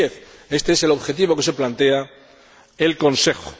2010. Éste es el objetivo que se plantea el Consejo.